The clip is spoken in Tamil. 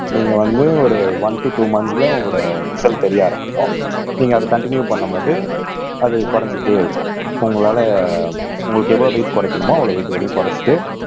நீங்க வந்து ஒரு ஒன் டு டூ மந்த்ஸ்ல உங்களோட ரிசல்ட் தெரிய ஆரம்பிக்கும் நீங்க அத கன்டினியூ பண்ணும் போது அது குறைஞ்சிட்டே இருக்கும் உங்களால உங்களுக்கு எவ்வளவு வெயிட் குறைக்கணுமோ அவ்வளவு வெயிட் வரையும் குறைச்சிட்டு